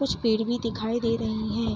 कुछ पेड़ भी दिखाई दे रहे है।